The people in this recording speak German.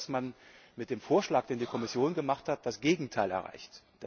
Ich glaube, dass man mit dem Vorschlag, den die Kommission gemacht hat, das Gegenteil erreicht.